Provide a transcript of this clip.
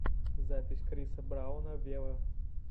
запись криса брауна вево